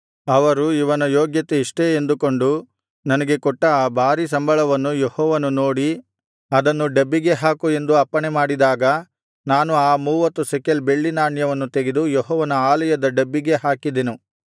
ಅವರು ಇವನ ಯೋಗ್ಯತೆ ಇಷ್ಟೇ ಎಂದುಕೊಂಡು ನನಗೆ ಕೊಟ್ಟ ಆ ಭಾರೀ ಸಂಬಳವನ್ನು ಯೆಹೋವನು ನೋಡಿ ಅದನ್ನು ಡಬ್ಬಿಗೆ ಹಾಕು ಎಂದು ಅಪ್ಪಣೆ ಮಾಡಿದಾಗ ನಾನು ಆ ಮೂವತ್ತು ಶೆಕೆಲ್ ಬೆಳ್ಳಿ ನಾಣ್ಯವನ್ನು ತೆಗೆದು ಯೆಹೋವನ ಆಲಯದ ಡಬ್ಬಿಗೆ ಹಾಕಿದೆನು